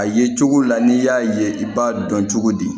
A ye cogo la n'i y'a ye i b'a dɔn cogo di